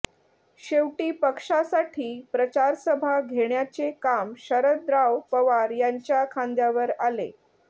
शेवटी पक्षासाठी प्रचारसभा घेण्याचे काम शरदराव पवार यांच्या खांद्यावर आले